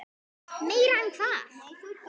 Meira en hvað?